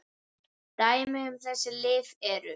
Dæmi um þessi lyf eru